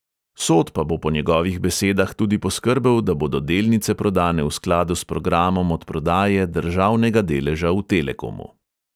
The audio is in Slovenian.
Sod pa bo po njegovih besedah tudi poskrbel, da bodo delnice prodane v skladu s programom odprodaje državnega deleža v telekomu.